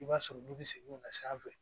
I b'a sɔrɔ n'u bɛ segin o na sanfɛ